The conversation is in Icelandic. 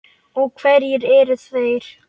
Og hverjir eru þeir?